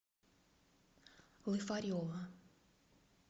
лыфарева